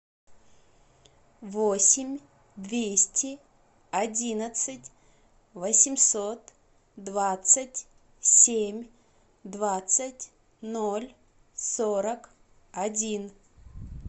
восемь двести одиннадцать восемьсот двадцать семь двадцать ноль сорок один